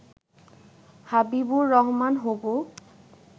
হবিবর রহমান হবু